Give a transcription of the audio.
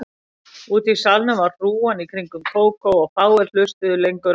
Úti í salnum var hrúgan í kringum Kókó og fáir hlustuðu lengur á